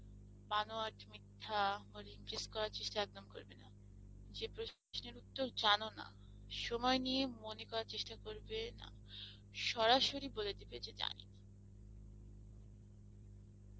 or impress করার চেষ্ঠা একদম করবে না, যে প্রশ্নের উত্তর একদম যেন না সময় নিয়ে মনে করার চেষ্ঠা করবে না সরাসরি বলে দেবে যে জানি না